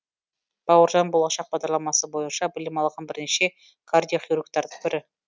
бауыржан болашақ бағдарламасы бойынша білім алған бірнеше кардиохирургтардың бірі